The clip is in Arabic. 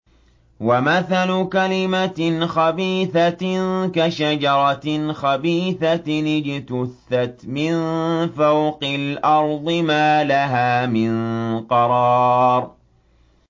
وَمَثَلُ كَلِمَةٍ خَبِيثَةٍ كَشَجَرَةٍ خَبِيثَةٍ اجْتُثَّتْ مِن فَوْقِ الْأَرْضِ مَا لَهَا مِن قَرَارٍ